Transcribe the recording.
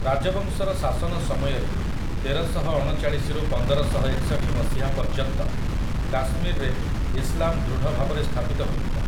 ରାଜବଂଶର ଶାସନ ସମୟରେ, ତେରଶହଅଣଚାଳିଶି ରୁ ପନ୍ଦରଶହଏକଷଠି ମସିହା ପର୍ଯ୍ୟନ୍ତ, କାଶ୍ମୀରରେ ଇସଲାମ ଦୃଢ ଭାବରେ ସ୍ଥାପିତ ହୋଇଥିଲା ।